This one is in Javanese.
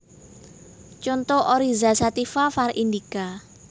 Conto Oryza sativa var indica